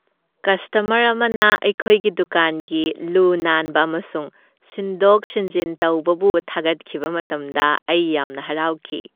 Customer ꯑꯃꯅ ꯑꯩꯈꯣꯏꯒꯤ ꯗꯨꯀꯥꯟꯒꯤ ꯂꯨ ꯅꯥꯟꯕ ꯑꯃꯁꯨꯡ ꯁꯤꯟꯗꯣꯛ ꯁꯤꯟꯖꯤꯟ ꯇꯧꯕꯕꯨ ꯊꯥꯒꯠꯈꯤꯕ ꯃꯇꯝꯗ ꯑꯩ ꯌꯥꯝꯅ ꯍꯔꯥꯎꯈꯤ꯫